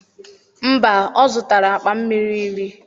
mba,o zụtara akpa mmiri iri.